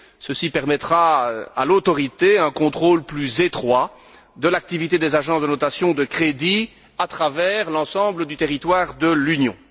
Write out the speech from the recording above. Ceci permettra à l'Autorité d'exercer un contrôle plus étroit de l'activité des agences de notation de crédit sur l'ensemble du territoire de l'Union.